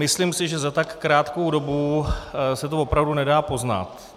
Myslím si, že za tak krátkou dobu se to opravdu nedá poznat.